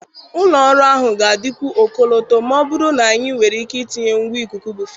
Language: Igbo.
Ụlọ ọrụ ahụ ga-adịkwu ọkọlọtọ ma ọ bụrụ na anyị nwere ike tinye ngwa ikuku bụ fanụ.